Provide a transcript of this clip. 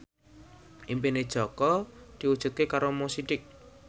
impine Jaka diwujudke karo Mo Sidik